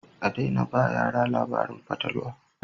A daina ba yara labarin fatalwa